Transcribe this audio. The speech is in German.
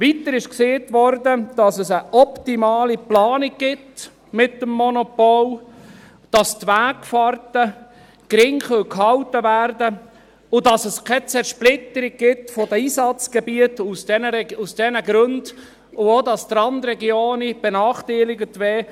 Weiter wurde gesagt, dass es mit dem Monopol eine optimale Planung gebe, dass die Wegfahrten gering gehalten werden könnten und dass es aus diesen Gründen keine Zersplitterung der Einsatzgebiete gebe und auch, dass die Randregionen nicht benachteiligt würden.